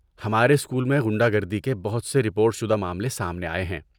ہمارے اسکول میں غنڈہ گردی کے بہت سے رپورٹ شدہ معاملے سامنے آئے ہیں۔